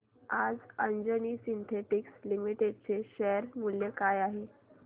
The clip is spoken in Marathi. आज अंजनी सिन्थेटिक्स लिमिटेड चे शेअर मूल्य काय आहे